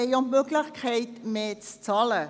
Wir haben die Möglichkeit, mehr zu bezahlen;